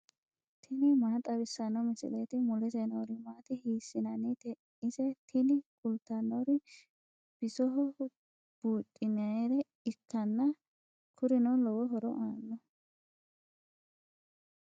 tini maa xawissanno misileeti ? mulese noori maati ? hiissinannite ise ? tini kultannori bisoho buudhinayiire ikkanna kurino lowo horo aannoho.